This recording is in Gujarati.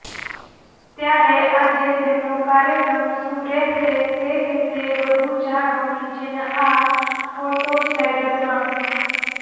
ત્યારે આજે તેમનો કાર્યક્રમ શું રહેશે તે વિષે વધુ જાણો નીચેના આ ફોટોસ્લાઇડરમાં